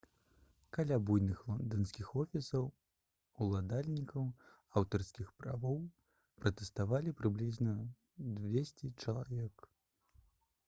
каля буйных лонданскіх офісаў уладальнікаў аўтарскіх правоў пратэставалі прыблізна 200 чалавек